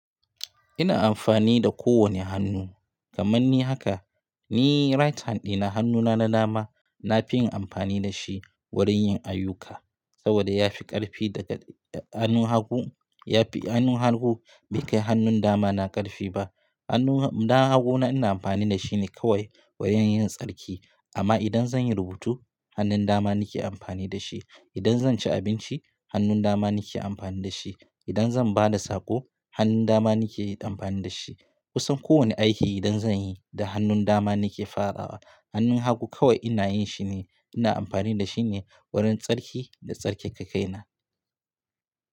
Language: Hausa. Ina amfani da kowane hannu. Kaman ni haka, ni right hand ɗina hannuna na dama, na fi yin amfani da shi wurin yin ayyuka, saboda ya fi ƙarfi daga hannu hagu. Ya fi hannu hagu bai kai hannun dama na ƙarfi ba. Hannun dama hagu na ina amfani da shi ne kawai wurin yin tsarki. Amma idan zan yi rubutu, hannun dama nake amfani da shi. Idan zan ci abinci hannun dama nake amfani da shi. Idan zan ba da sako hannun dama nake amfani da shi. Kusan kowane aiki idan zan yi da hannun dama nake farawa. Hannun hagu kawai ina yin shi ne ina amfani da shi ne wurin tsarki da tsarkake kai na.